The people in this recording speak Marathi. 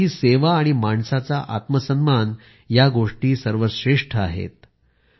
त्यांच्यासाठी सेवा आणि माणसाचा आत्मसन्मान सर्वश्रेष्ठ आहे